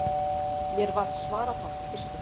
Mér varð svarafátt í fyrstu.